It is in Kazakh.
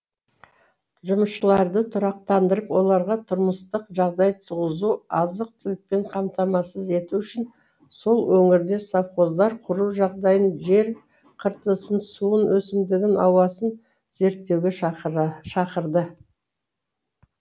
жұмысшыларды тұрақтандырып оларға тұрмыстық жағдай туғызу азық түлікпен қамтамасыз ету үшін сол өңірде совхоздар құру жағдайын жер қыртысын суын өсімдігін ауасын зерттеуге шақырды